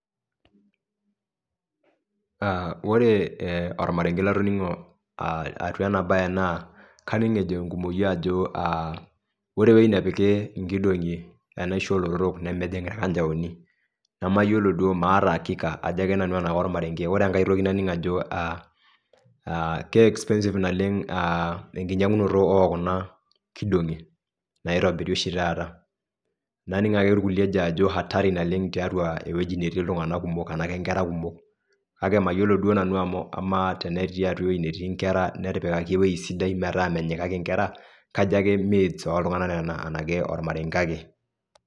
Aaa ore ee olmarenge latoning'o aa atua ena bae naa kaning' ejo enkumoi ajo aa ore ewei nepiki inkidong'i enaisho oolotorok nemejing' ilkanjaoni, nemaolo duo maata akika ajo ake nanu tenaa olmarenge ore enkae toki naning' ajo aa keexpensive naleng' aa enkinyang'unoto ookuna kidong'i naitobiri oshi taata naning' ake ilkuliek ejo ajo hatari naleng' tiatua ewji natii iltung'ana kumok enaki inkera kumok, kake mayolo duo ake nanu amuu amaa tenetii atua eweji netii inkera netipikaki ewi sidai metaa menyikaki inkera, kajo ake cs[myths]cs oltung'ana nena enake olmarenge ake.